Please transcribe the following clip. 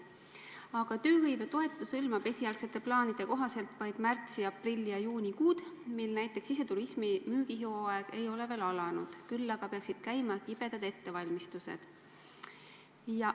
Aga tööhõivetoetus hõlmab esialgsete plaanide kohaselt vaid märtsi-, aprilli- ja maikuud, mil näiteks siseturismi müügihooaeg ei ole veel alanud, küll aga peaksid käima kibedad ettevalmistused.